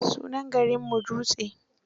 Sunan garinmu Dutse.